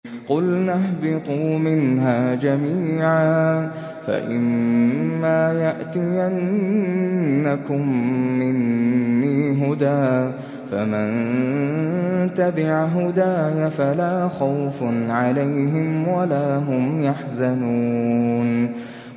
قُلْنَا اهْبِطُوا مِنْهَا جَمِيعًا ۖ فَإِمَّا يَأْتِيَنَّكُم مِّنِّي هُدًى فَمَن تَبِعَ هُدَايَ فَلَا خَوْفٌ عَلَيْهِمْ وَلَا هُمْ يَحْزَنُونَ